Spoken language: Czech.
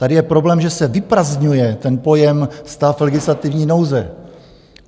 Tady je problém, že se vyprazdňuje ten pojem "stav legislativní nouze".